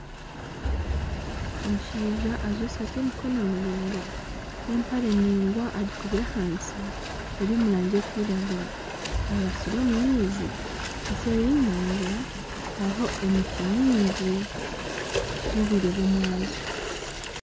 Omushaija ajwire esaati y'emikono miringwa n'empare ningwa agikubire ahansi eri omu rangi erikwiragura. Aribasire omu maizi. Eseeri y'enyanja hariho emiti mingi. Nobwire bw'omwabazyo.